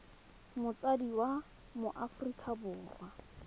motsadi wa mo aforika borwa